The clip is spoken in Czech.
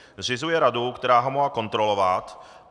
Zřizuje radu, která ho má kontrolovat.